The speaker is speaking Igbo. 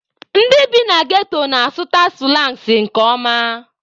Ndị bi na ghetto na-asụta sụlangs nke ọma.